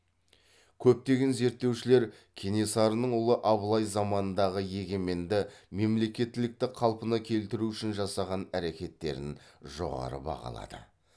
көптеген зерттеушілер кенесарының ұлы абылай заманындағы егеменді мемлекеттілікті қалпына келтіру үшін жасаған әрекеттерін жоғары бағалады